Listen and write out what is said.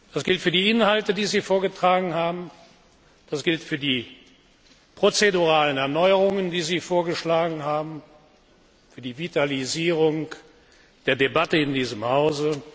Das gilt für die Inhalte, die Sie vorgetragen haben, das gilt für die prozeduralen Erneuerungen, die Sie vorgeschlagen haben, und das gilt für die Vitalisierung der Debatte in diesem Hause.